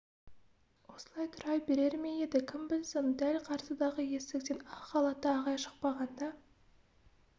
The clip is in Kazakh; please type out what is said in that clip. осылай тұра берер ме еді кім білсін дәл қарсыдағы есіктен ақ халатты ағай шықпағанда